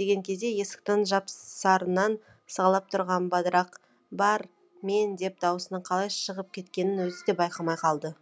деген кезде есіктің жапсарынан сығалап тұрған бадырақ бар мен деп даусының қалай шығып кеткенін өзі де байқамай қалды